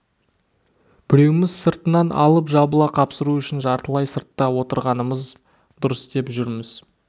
біреуміз сыртынан алып жабыла қапсыру үшін жартылай сыртта отырғанымыз дұрыс деп жүрміз